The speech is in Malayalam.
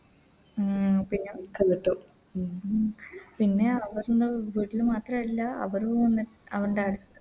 ഉം പിന്നെ അവര്ൻറെ വീട്ടില് മാത്രല്ല അവരു വന്നിട്ട് അവര്ൻറെ